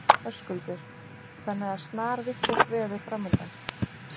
Höskuldur: Þannig að snarvitlaust veður framundan?